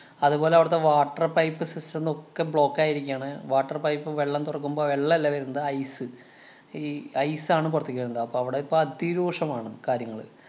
അതുപോലെ അവിടത്തെ water pipe system ങ്ങളൊക്കെ block ആയിരിക്കയാണ് water pipe വെള്ളം തൊറക്കുമ്പം വെള്ളല്ല വരുന്നത് ice. ഈ ice ആണ് പൊറത്തേക്ക് വരുന്നത്. അപ്പ അവിടെ ഇപ്പ അതിരൂക്ഷമാണ് കാര്യങ്ങള്.